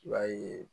I b'a ye